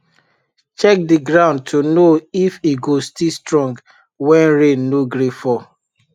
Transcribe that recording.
check the ground to know if e go still strong when rain no gree fall